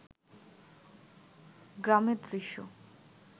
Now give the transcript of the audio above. গ্রামের দৃশ্য